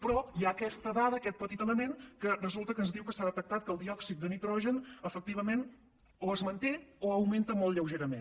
però hi ha aquesta dada aquest petit element que resulta que ens diu que s’ha detectat que el diòxid de nitrogen efectivament o es manté o augmenta molt lleugerament